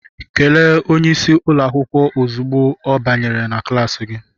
Kelee onye isi ụlọ akwụkwọ ozugbo ọ banyere na klas gị!